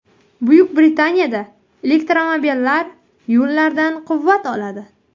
Buyuk Britaniyada elektromobillar yo‘llardan quvvat oladi.